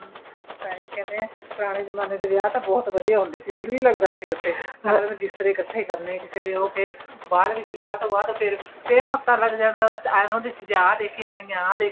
ਤਾਂਹੀ ਕਹਿੰਦੇ ਏ ਪੁਰਾਣੇ ਜਮਾਨੇ ਦੇ ਵਿਆਹ ਤਾਂ ਬਹੁਤ ਵਧੀਆ ਹੁੰਦੇ ਸੀ ਦਿਲ ਵੀ ਲੱਗਦਾ ਸੀ ਉਥੇ ਮੰਜੇ ਬਿਸਤਰੇ ਇੱਕਠੇ ਕਰਨੇ ਕਿਸੇ ਦੇ ਉਹ ਫ਼ਿਰ ਬਾਅਦ ਵਿੱਚ ਵਿਆਹ ਤੋ ਬਾਅਦ ਫ਼ਿਰ ਹਫਤਾ ਲੱਗ ਜਾਣਾ ਆ ਦੇਖ ਕੇ ਜਾਣੀ ਆ